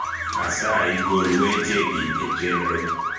asayi gol weche gi e chenro